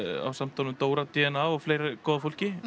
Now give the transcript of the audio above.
ásamt honum Dóra d n a og fleiri góðu fólki